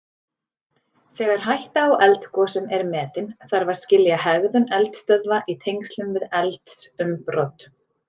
Þegar hætta á eldgosum er metin þarf að skilja hegðun eldstöðva í tengslum við eldsumbrot.